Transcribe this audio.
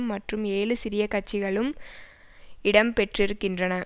மற்றும் ஏழு சிறிய கட்சிகளும் இடம் பெற்றிருக்கின்றன